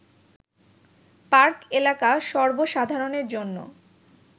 park এলাকা সর্ব সাধারণের জন্য